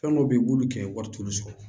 Fɛn dɔw bɛ yen u b'olu kɛ wari t'olu sɔrɔ